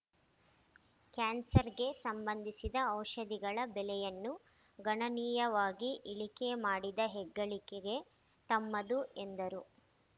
ಕ್ಯಾನ್ಸರ್‌ಗೆ ಸಂಬಂಧಿಸಿದ ಔಷಧಿಗಳ ಬೆಲೆಯನ್ನು ಗಣನೀಯವಾಗಿ ಇಳಿಕೆ ಮಾಡಿದ ಹೆಗ್ಗಳಿಕೆಗೆ ತಮ್ಮದು ಎಂದರು